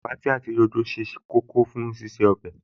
Tòmátì àti rodo ṣe kókó fún ṣíṣe ọbẹ̀